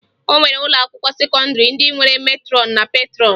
O nwere ụlọakwụkwọ sekọndịrị ndị nwere metrọn na petrọn